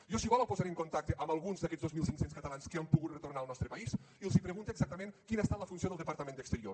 jo si vol el posaré en contacte amb alguns d’aquests dos mil cinc cents catalans que han pogut retornar al nostre país i els pregunta exactament quina ha estat la funció del departament d’exterior